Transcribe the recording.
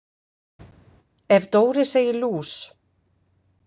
Ef Dóri segir lús